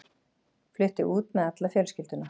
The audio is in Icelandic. Flutti út með alla fjölskylduna.